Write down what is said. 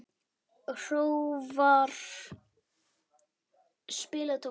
Hróðvar, spilaðu tónlist.